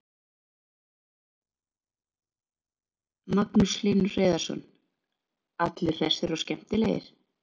Magnús Hlynur Hreiðarsson: Allir hressir og skemmtilegir?